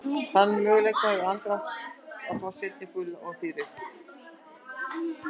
Þannig að mögulega hefði Andri átt að fá seinna gula og því rautt?